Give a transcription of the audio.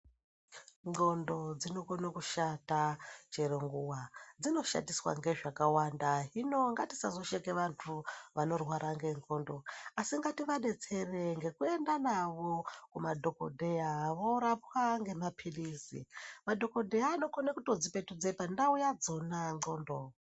Nxondo dzinokone kushata chero nguwa dzinoshatiswa ngezvakawanda hino ngatisazosheke vantu vanorwa ngenxondo asi ngativabetsere ngekuenda navo kuma dhokodheya vorapwa ngemapirizi madhokodheya anokone kutodzipetudze pandau padzona nxondo.